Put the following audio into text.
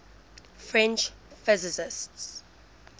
french physicists